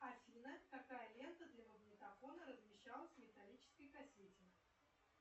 афина какая лента для магнитофона размещалась в металлической кассете